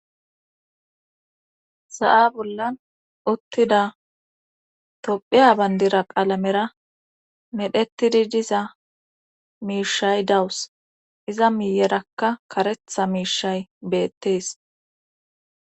Sa7a bollan uttida tophiya bandira qaalamera medhetidi diza miishay dawus iza miiyerakka karetha miishay beettees.